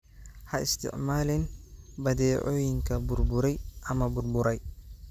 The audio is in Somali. Ha isticmaalin badeecooyinka burburay ama burburay.